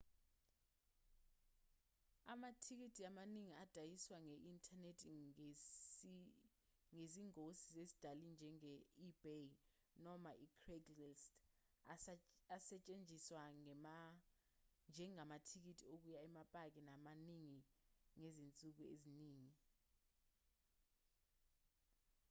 amathikithi amaningi adayiswa nge-inthanethi ngezingosi zezindali njenge-ebay noma i-craigslist asatshenziswa njengamathikithi okuya emapaki amaningi ngezinsuku eziningi